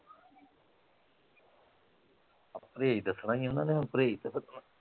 ਪ੍ਰਹੇਜ ਦੱਸਣਾ ਹੀ ਆ ਓਹਨਾਂ ਨੇ ਹੁਣ ਪ੍ਰਹੇਜ ਤਾਂ ਦੱਸਣਾ।